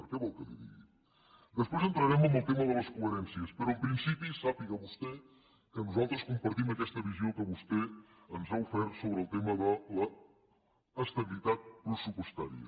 què vol que li digui després entrarem en el tema de les coherències però en principi sàpiga vostè que nosaltres compartim aquesta visió que vostè ens ha ofert sobre el tema de l’estabilitat pressupostària